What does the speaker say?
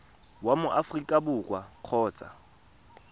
wa mo aforika borwa kgotsa